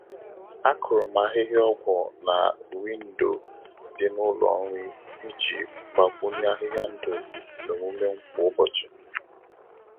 A kụrụ m ahịhịa ọgwu na Windò dị n'ụlọ nri iji gbakwunye ahịhịa ndụ n'omume m kwa ụbọchị.